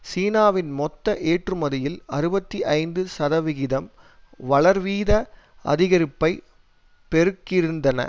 சீனாவின் மொத்த ஏற்றுமதியில் அறுபத்தி ஐந்து சதவிகிதம் வளர்வீத அதிகரிப்பை பெருக்கிருந்தன